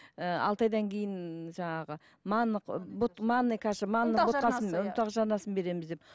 ыыы алты айдан кейін жаңағы ы манный каша ұнтақ жармасын береміз деп